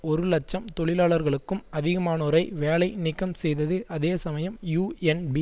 ஒரு இலட்சம் தொழிலாளர்களுக்கும் அதிகமானோரை வேலை நீக்கம் செய்தது அதே சமயம் யூஎன்பி